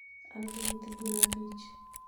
An gi nyithi gwen abich